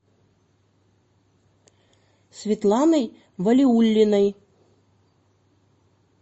светланой валиуллиной